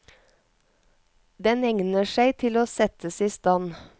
Den egner seg til å settes i stand.